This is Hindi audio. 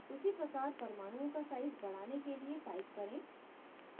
उसी प्रकार परमाणुओं का size बढ़ाने के लिए type करें: